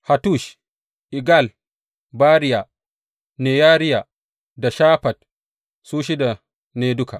Hattush, Igal, Bariya, Neyariya da Shafat, su shida ne duka.